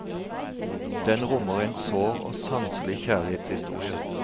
Den rommer en sår og sanselig kjærlighetshistorie.